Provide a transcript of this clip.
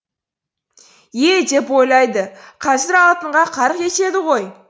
е деп ойлайды қазір алтынға қарқ етеді ғой